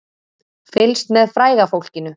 Fylgst með fræga fólkinu